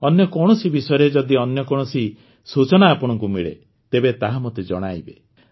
ଅନ୍ୟ କୌଣସି ବିଷୟରେ ଯଦି ଅନ୍ୟ କୌଣସି ସୂଚନା ଆପଣଙ୍କୁ ମିଳେ ତେବେ ତାହା ମୋତେ ଜଣାଇବେ